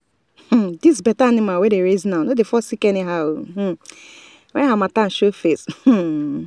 this better animal wey we dey raise now no dey fall sick anyhow when harmattan show face.